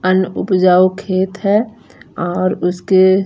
और अन उपजाऊ खेत है और उसके--